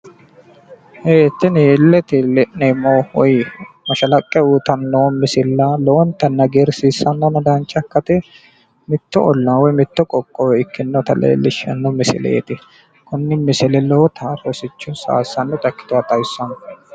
Ee tini illete la'neemmo mashalaqqe uyiitanno misilla lowontanni hagiirsiisannona dancha ikkate mitto ollaa woy qoqowo leelishanno misileeti.